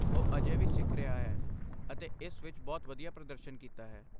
ਉਹ ਅਜੇ ਵੀ ਸਿੱਖ ਰਿਹਾ ਹੈ ਅਤੇ ਇਸ ਵਿੱਚ ਬਹੁਤ ਵਧੀਆ ਪ੍ਰਦਰਸ਼ਨ ਕੀਤਾ ਹੈ।